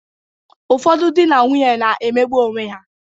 Ụfọdụ dị na nwunye na-emegbụ onweha.